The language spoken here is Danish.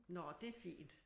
Nå det er fint